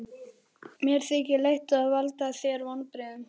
Jón: Það er bara verið að forða skipinu frá skemmdum?